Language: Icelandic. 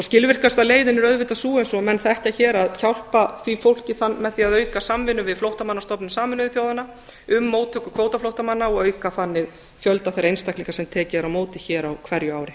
skilvirkasta leiðin er auðvitað sú eins og menn þekkja hér að hjálpa því fólki með því að auka samvinnu við flóttamannastofnun sameinuðu þjóðanna um móttöku kvótaflóttamanna og auka þannig fjölda þeirra einstaklinga sem tekið er á móti hér á hverju ári